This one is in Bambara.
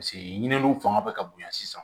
paseke ɲininiw fanga bɛ ka bonya sisan